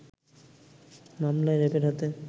মামলা র‌্যাবের হাতে